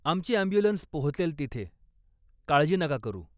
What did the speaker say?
आमची ॲम्ब्युलन्स पोहचेल तिथे, काळजी नका करू.